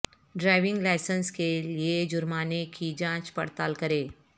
driving licence کے لئے جرمانے کی جانچ پڑتال کریں